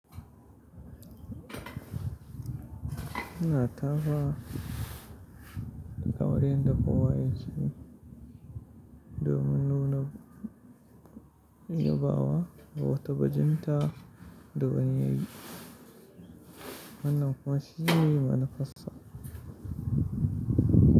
Ina tafawa kaman yanda kowa yakeyi, do min nuna yabawa, da wata bajinta da wani yi, wannan kuma shi ne manufassa.